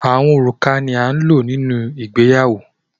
Rings are used in weddings